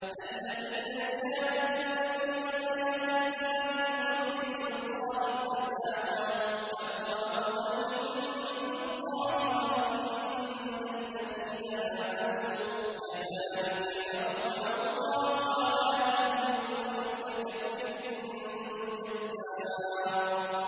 الَّذِينَ يُجَادِلُونَ فِي آيَاتِ اللَّهِ بِغَيْرِ سُلْطَانٍ أَتَاهُمْ ۖ كَبُرَ مَقْتًا عِندَ اللَّهِ وَعِندَ الَّذِينَ آمَنُوا ۚ كَذَٰلِكَ يَطْبَعُ اللَّهُ عَلَىٰ كُلِّ قَلْبِ مُتَكَبِّرٍ جَبَّارٍ